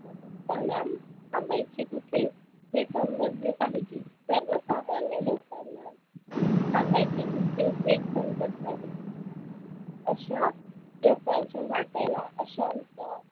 लचा थांबायचे कुठे हे समजले पाहीजे. सर्वसामान्य लोकांना थांबायचे कुठे हेच समजत नाही. अशा लोकांच्या वाट्याला अशांत